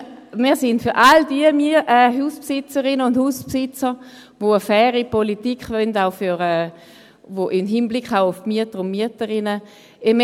Wir sind für all die Hausbesitzerinnen und Hausbesitzer da, die eine faire Politik auch im Hinblick auf die Mieter und Mieterinnen wollen.